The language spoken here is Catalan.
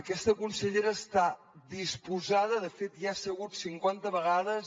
aquesta consellera està disposada de fet ja hi ha segut cinquanta vegades